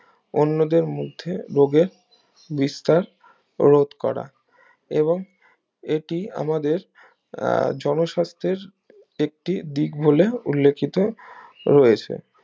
অন্যদের মধ্যে রোগের বিস্তার হ্রদ করা এবং এটি আমাদের আহ জনস্বাস্থ্যের একটি দিক হলে উল্লেখিত রয়েছে